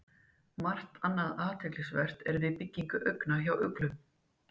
Margt annað er athyglisvert við byggingu augna hjá uglum.